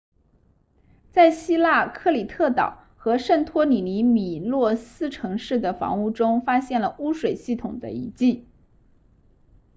在希腊克里特岛和圣托里尼米诺斯城市的房屋中发现了污水系统的遗迹